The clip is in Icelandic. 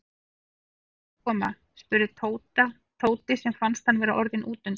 Ætlaði Lúlli að koma? spurði Tóti sem fannst hann vera orðinn útundan.